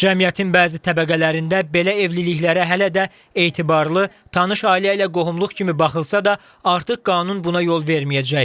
Cəmiyyətin bəzi təbəqələrində belə evliliklərə hələ də etibarlı, tanış ailə ilə qohumluq kimi baxılsa da, artıq qanun buna yol verməyəcək.